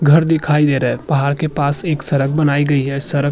घर दिखाई दे रहा है पहाड़ के पास एक सरक बनाई गई है सरक --